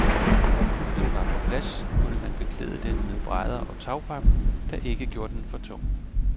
Da kuplen var på plads, kunne man beklæde den med brædder og tagpap, der ikke gjorde den for tung.